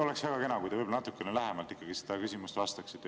Oleks väga kena, kui te natukene lähemalt sellele küsimusele vastaksite.